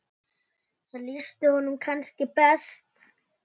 Það lýsti honum kannski best.